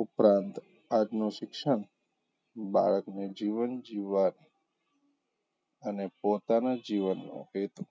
ઉપરાંત આજનું શિક્ષણ બાળકને જીવન જીવવા અને પોતાનાં જીવનનો હેતું